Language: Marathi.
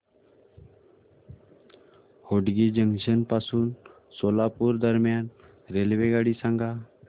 होटगी जंक्शन पासून सोलापूर दरम्यान रेल्वेगाडी सांगा